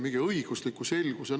Mingi õiguslik selgus!